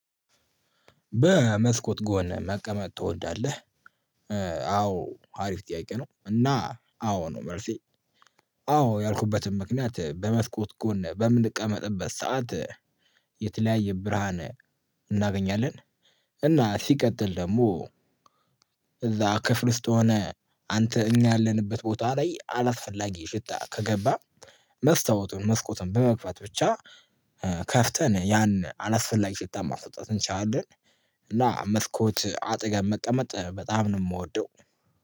በመስኮት ጎን መቀመጥ ትወዳለህ? አዎ አሪፍ ጥያቄ ነው። እና አዎ ነው መልሴ። አዎ ያልኩበትም ምክንያት በመስኮት ጎን በምንቀመጥበት ሰዓት የተለያየ ብርሃን እናገኛለን እና ሲቀጥል ደግሞ እዛ ክፍል ውስጥ የሆነ አንተ እኛ ያለንበት ቦታ ላይ አላስፈላጊ ሽታ ከገባ መስታወቱን መስኮቱን በመግፉት ብቻ ከፍተን ያን አላስፈላጊ ሽታ ማስወጣት እንችላለን። እና መስኮት አጠገብ መቀመጥ በጣም ነው የምወደው።